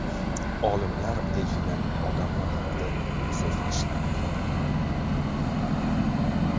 Olimlar delfinlarning odamlar haqida so‘zlashishini aniqladi.